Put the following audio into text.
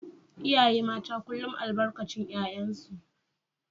iyaye mata kullum albarkacin 'ya'yansu